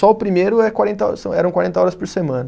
Só o primeiro é quarenta, são eram quarenta horas por semana.